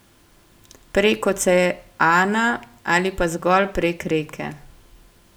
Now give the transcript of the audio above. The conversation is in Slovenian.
Prek oceana ali pa zgolj prek reke.